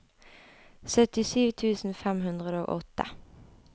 syttisju tusen fem hundre og åtte